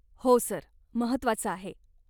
हो सर, महत्वाचं आहे.